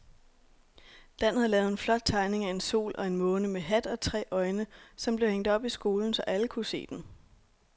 Dan havde lavet en flot tegning af en sol og en måne med hat og tre øjne, som blev hængt op i skolen, så alle kunne se den.